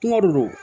Kungo de do